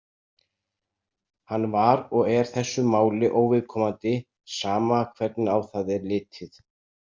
Hann var og er þessu máli óviðkomandi, sama hvernig á það er litið.